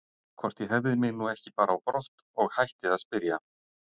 Hvort ég hefði mig nú ekki bara á brott og hætti að spyrja.